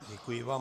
Děkuji vám.